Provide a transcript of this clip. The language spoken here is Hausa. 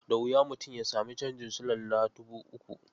Da wuya mutum ya sami canjin tsabar silalla dubu uku.